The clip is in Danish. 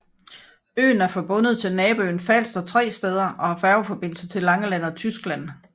Øen er forbundet til naboøen Falster tre steder og har færgeforbindelser til Langeland og Tyskland